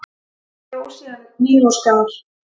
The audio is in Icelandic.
Dró síðan upp hníf og skar.